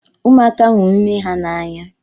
Ụmụaka hụrụ nne ha n'anya.